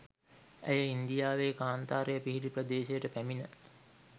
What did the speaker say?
ඇය ඉන්දියාවේ කාන්තාරය පිහිටි ප්‍රදේශයට පැමිණ